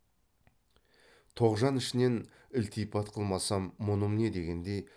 тоғжан ішінен ілтипат қылмасам мұным не дегендей